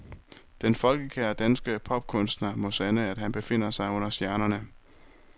Den folkekære danske popkunstner må sande at han befinder sig under stjernerne.